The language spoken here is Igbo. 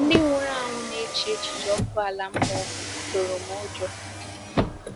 Ndị nwụrụ anwụ na echiche ọkụ ala mmụọ tụrụ m ụjọ.